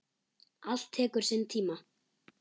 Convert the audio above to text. Allt tekur sinn tíma.